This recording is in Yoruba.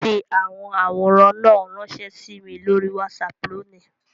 Fi awọn aworan náà ranṣẹ si mi lori WhatsApp loni!